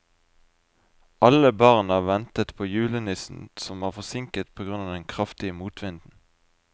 Alle barna ventet på julenissen, som var forsinket på grunn av den kraftige motvinden.